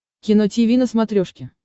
кино тиви на смотрешке